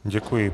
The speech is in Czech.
Děkuji.